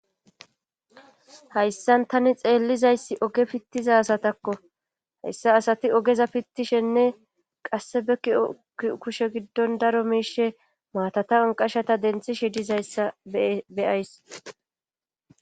Hayssan tani xeellizayssi oge pittiza asatakko hayssa asati ogeza pittishenne qasse bekki kushe giddon daro miishe maatatawon qashata denthi shidizayssa beyays.